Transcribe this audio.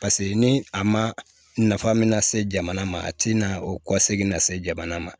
Paseke ni a ma nafa min na se jamana ma a ti na o kɔ segi na se jamana ma